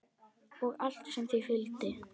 Og allt sem því fylgdi.